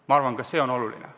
Ma arvan, ka see on oluline.